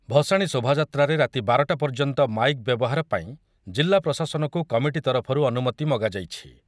କରାଯିବା ସହ ଭସାଣି ଶୋଭାଯାତ୍ରାରେ ରାତି ବାର ଟା ପର୍ଯ୍ୟନ୍ତ ମାଇକ୍ ବ୍ୟବହାର ପାଇଁ ଜିଲ୍ଲା ପ୍ରଶାସନକୁ କମିଟି ତରଫରୁ ଅନୁମତି ମଗାଯାଇଛି ।